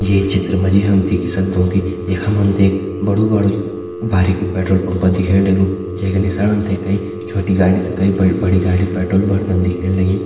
ये चित्र मा जी हम देखि सक्दों कि यखम हम ते बड़ु बाड- भारिकु पेट्रोल पंप दिखेण लग्युं जै का नीसाण तम ते कई छोटी गाड़ी त कई ब-बड़ी गाड़ी पेट्रोल भरदन दिखेण लगीं।